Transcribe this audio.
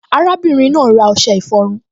Arábìnrin náà ra ọṣẹ ìfọrun